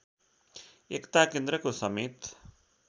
एकता केन्द्रको समेत